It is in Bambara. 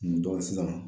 sisan